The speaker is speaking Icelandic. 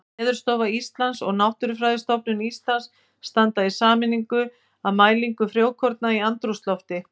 Veðurstofa Íslands og Náttúrufræðistofnun Íslands standa í sameiningu að mælingu frjókorna í andrúmslofti.